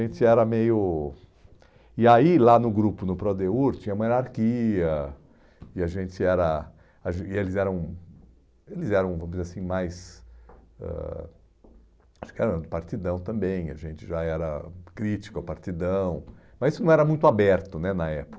a gente era meio... E aí lá no grupo, no Prodeur, tinha uma hierarquia, e a gente era, a gen e eles eram eles eram, vamos dizer assim, mais ãh ah partidão também, a gente já era crítico ao partidão, mas isso não era muito aberto né na